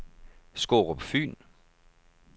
Skårup Fyn